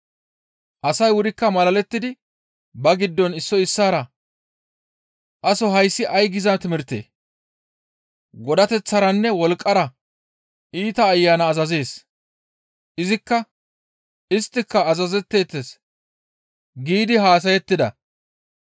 Asay wurikka malalettidi ba giddon issoy issaara, «Aso hayssi ay giza timirtee? Godateththaranne wolqqara iita ayana azazees; isttika kezeettes» giidi haasayettida.